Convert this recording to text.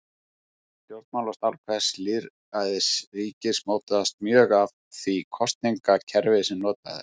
Stjórnmálastarf hvers lýðræðisríkis mótast mjög af því kosningakerfi sem notað er.